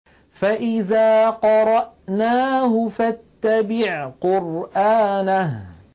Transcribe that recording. فَإِذَا قَرَأْنَاهُ فَاتَّبِعْ قُرْآنَهُ